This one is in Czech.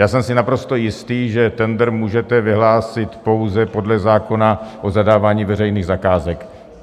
Já jsem si naprosto jistý, že tendr můžete vyhlásit pouze podle zákona o zadávání veřejných zakázek.